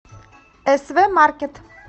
св маркет